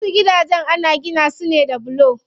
Wasu gidajen ana gina su ne da bulo.